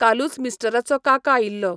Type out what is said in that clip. कालूच मिस्टराचो काका आयिल्लो.